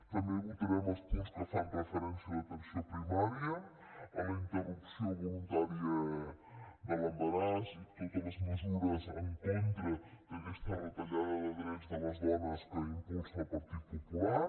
també votarem els punts que fan referència a l’atenció primària a la interrupció voluntària de l’embaràs i totes les mesures en contra d’aquestes retallada de drets de les dones que impulsa el partit popular